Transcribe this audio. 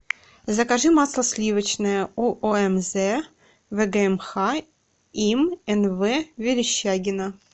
закажи масло сливочное уомз вгмх им н в верещагина